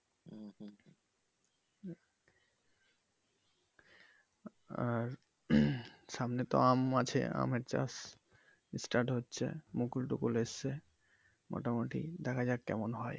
আর সামনে তো আম আছে আমের চাষ start হচ্ছে মুকুল টুকুল এসছে মোটামুটি দেখা যাক কেমন হয়।